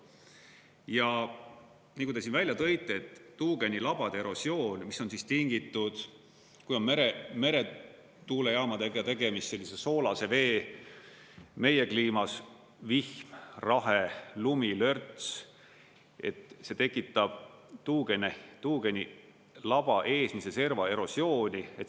Ja nagu te siin välja tõite, et tuugenilabade erosioon, mis on tingitud, kui on meretuulejaamadega tegemist, sellise soolase vee, meie kliimas vihm, rahe, lumi, lörts, see tekitab tuugenilaba eesmise serva erosiooni.